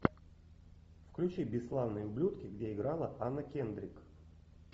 включи бесславные ублюдки где играла анна кендрик